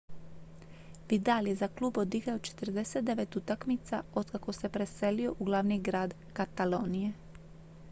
vidal je za klub odigrao 49 utakmica otkako se preselio u glavni grad katalonije